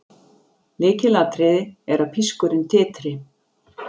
Lykilatriði er að pískurinn titri.